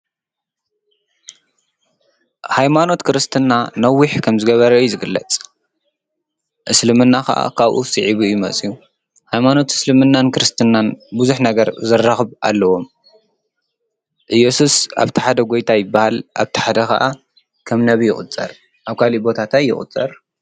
ሃይማኖት ክርስትና ንነዊሕ ከም ዝገበረ እዩ ዝግለጽ፡፡ እስልምና ኸዓ ኻብኡ ስዒቡ መፂኡ፡፡ ሃይማኖት እስልምናን ክርስትናን ብዙሕ ነገር ዘራኽብ ኣለዎም፡፡ ኢየሱስ ኣብቲ ሓደ ጐይታ ይበሃል፡፡ ኣብቲሓደ ኸዓ ኸም ነቢይ ይቝፀር፡፡ ኣብ ካሊእ ቦታ ታይ ይቝፀር?